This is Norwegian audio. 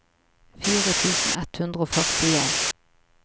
fire tusen ett hundre og førtien